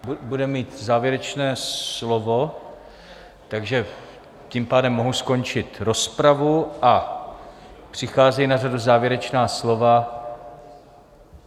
Bude mít závěrečné slovo, takže tím pádem mohu skončit rozpravu a přichází na řadu závěrečná slova.